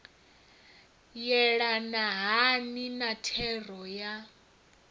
yelana hani na thero ya